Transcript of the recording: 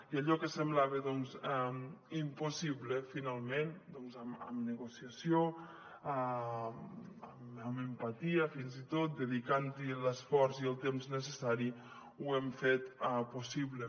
i allò que semblava impossible finalment doncs amb negociació amb empatia fins i tot dedicant hi l’esforç i el temps necessaris ho hem fet possible